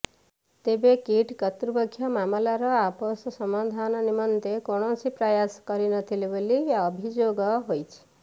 ତେବେ କିଟ୍ କର୍ତ୍ତୃପକ୍ଷ ମାମଲାର ଆପୋସ ସମାଧାନ ନିମନ୍ତେ କୌଣସି ପ୍ରୟାସ କରିନଥିଲେ ବୋଲି ଅଭିଯୋଗ ହୋଇଛି